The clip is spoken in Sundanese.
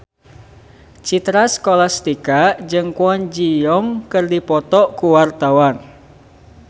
Citra Scholastika jeung Kwon Ji Yong keur dipoto ku wartawan